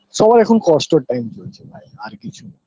সবার এখন কষ্টর time চলছে ভাই আর কিছুনা